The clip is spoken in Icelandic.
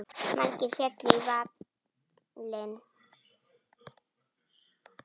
Margir féllu í valinn.